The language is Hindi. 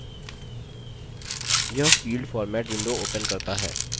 यह field format window opens करता है